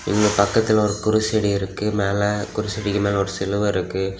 இங்க பக்கத்துல ஓரு குருசடி இருக்கு மேல குருசாடிக்கு மேல ஒரு சிலுவ இருக்கு.